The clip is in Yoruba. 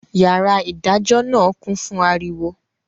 Yàrá ìdájọ́ náà kún fún ariwo